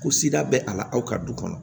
Ko bɛ a la aw ka du kɔnɔ